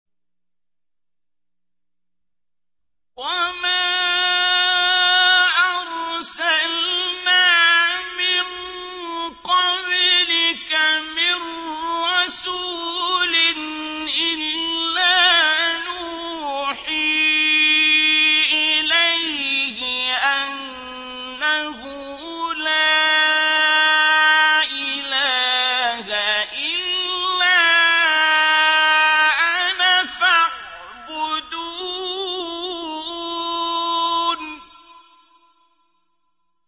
وَمَا أَرْسَلْنَا مِن قَبْلِكَ مِن رَّسُولٍ إِلَّا نُوحِي إِلَيْهِ أَنَّهُ لَا إِلَٰهَ إِلَّا أَنَا فَاعْبُدُونِ